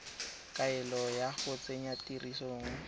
kaelo ya go tsenya tirisong